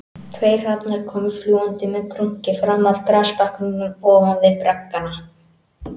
Tveir hrafnar komu fljúgandi með krunki fram af grasbakkanum ofan við braggana